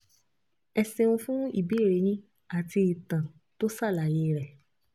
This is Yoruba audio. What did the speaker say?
Ẹ ṣeun fún ìbéèrè yín àti ìtàn tó ṣàlàyé rẹ̀